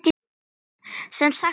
Sem sagt, enginn guð.